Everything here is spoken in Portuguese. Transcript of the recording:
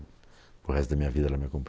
para o resto da minha vida era minha